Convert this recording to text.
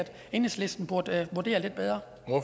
enhedslisten burde vurdere